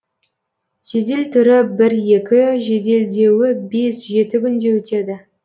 жедел түрі бір екі жеделдеуі бес жеті күнде өтеді